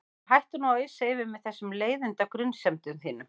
Og hættu nú að ausa yfir mig þessum leiðinda grunsemdum þínum.